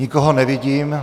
Nikoho nevidím.